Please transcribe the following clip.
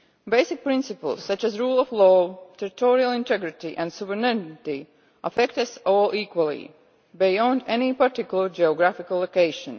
Basic principles such as the rule of law, territorial integrity and sovereignty affect us all equally, beyond any particular geographical location.